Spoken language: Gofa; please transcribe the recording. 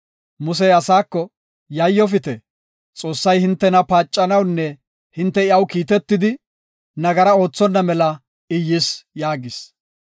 Musey asaako, “Yayyofite; Xoossay hintena paacanawunne hinte iyaw kiitetidi nagara oothonna mela I yis” yaagis.